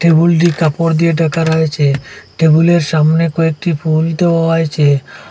টেবুলটি কাপড় দিয়ে ঢাকা রয়েছে টেবুলের সামনে কয়েকটি ফুল দেওয়া হয়েছে।